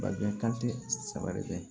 Babiɲɛn kan tɛ saba de